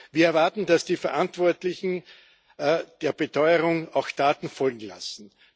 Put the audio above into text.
Wir erwarten, dass die Verantwortlichen den Beteuerungen auch Taten folgen lassen.